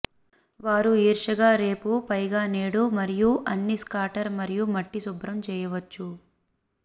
వారు ఈర్ష్యగా రేపు పైగా నేడు మరియు అన్ని స్కాటర్ మరియు మట్టి శుభ్రం చేయవచ్చు